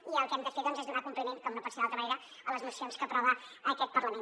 i el que hem de fer doncs és donar compliment com no pot ser d’altra manera a les mocions que aprova aquest parlament